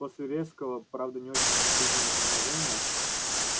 после резкого правда не очень чувствительного торможения